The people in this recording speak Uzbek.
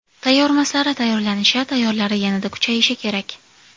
Tayyormaslari tayyorlanishi, tayyorlari yanada kuchayishi kerak.